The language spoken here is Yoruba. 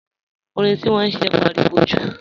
Orin tí wọ́n ń ṣe ń pariwo jù